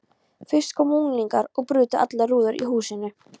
Fyrst komu unglingar og brutu allar rúður í húsinu.